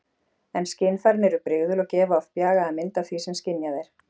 En skynfærin eru brigðul og gefa oft bjagaða mynd af því sem skynjað er.